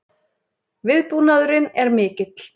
Viðbúnaðurinn er mikill